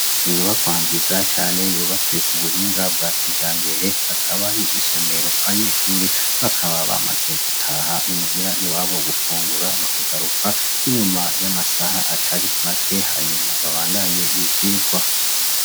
Inyubakwa nziza cane yubatswe kubuhinga bwa kijambere , hakaba hari isomero abanyeshure bakaba bamaze gutaha i muhira iwabo gufungura bakagaruka ,inyuma y'amasaha atari make hanyuma babandanye ivyigwa.